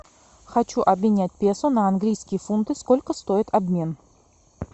хочу обменять песо на английские фунты сколько стоит обмен